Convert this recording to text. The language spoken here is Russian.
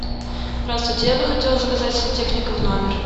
здравствуйте я бы хотела заказать сантехника в номер